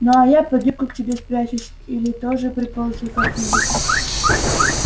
ну а я под юбку к тебе спрячусь или тоже приползу как-нибудь